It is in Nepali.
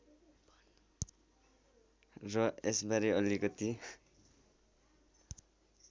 र यसबारे अलिकति